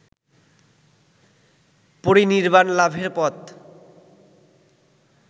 পরিনির্বাণ লাভের পথ